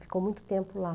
Ficou muito tempo lá.